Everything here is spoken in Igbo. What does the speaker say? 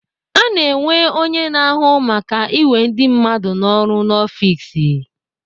Ana enwe onye na-ahụ maka iwe ndị mmadụ n'ọrụ n'ọfiks.